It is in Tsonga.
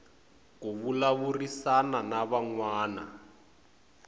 ku vulavurisana na van wana